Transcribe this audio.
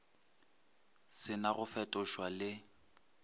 se na go fetošwa le